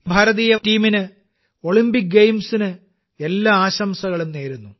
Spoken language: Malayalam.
ഭാരതീയ ടീമിന് ഒളിമ്പിക് ഗെയിംസിന് എല്ലാ ആശംസകളും നേരുന്നു